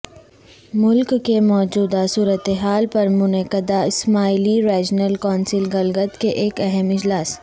ملک کے موجودہ صورتحال پر منعقدہ اسماعیلی ریجنل کونسل گلگت کے ایک اہم اجلاس